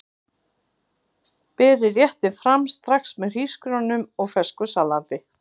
Berið réttinn fram strax með hrísgrjónum og fersku salati.